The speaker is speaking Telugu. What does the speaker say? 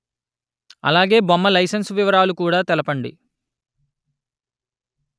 అలాగే బొమ్మ లైసెన్సు వివరాలు కూడా తెలుపండి